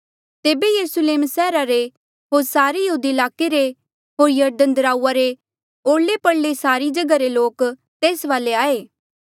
तेबे यरुस्लेम सैहरा रे होर सारे यहूदिया ईलाके ले होर यरदन दराऊआ रे ओरले परले सारे जगहा रे लोक तेस वाले आये